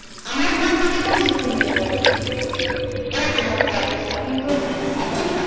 আমার ভুল থেকে তোতুমি শিক্ষা পারবে এইরকম একটা অবস্থা কিন্তু এখন